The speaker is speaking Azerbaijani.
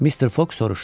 Mister Foq soruşdu.